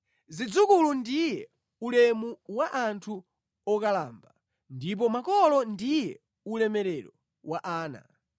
Zidzukulu ndiye ulemu wa anthu okalamba, ndipo makolo ndiye ulemerero wa ana.